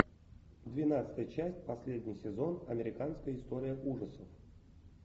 двенадцатая часть последний сезон американская история ужасов